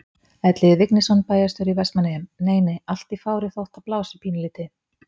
Elliði Vignisson, bæjarstjóri í Vestmannaeyjum: Nei nei, allt í fári þótt að blási pínulítið?